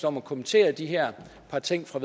om at kommentere de her par ting fra